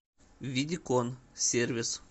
видикон сервис